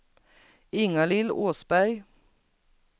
Ingalill Åsberg